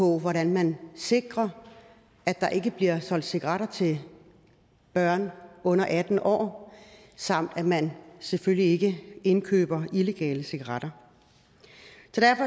hvordan man sikrer at der ikke bliver solgt cigaretter til børn under atten år samt at man selvfølgelig ikke indkøber illegale cigaretter